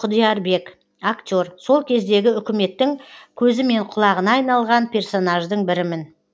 құдиярбек актер сол кездегі үкіметтің көзі мен құлағына айналған персонаждың бірімін